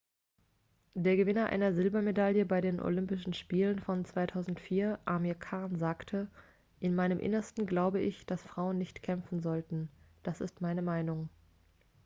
der gewinner einer silbermedaille bei den olympischen spielen von 2004 amir khan sagte in meinem innersten glaube ich dass frauen nicht kämpfen sollten das ist meine meinung